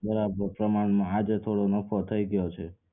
બરાબર પ્રમાણ માં આજે નફો થઇ ગયો છે